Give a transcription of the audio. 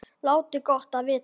Láti gott á vita.